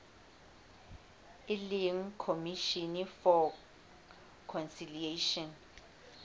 e leng commission for conciliation